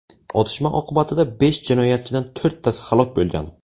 Otishma oqibatida besh jinoyatchidan to‘rttasi halok bo‘lgan.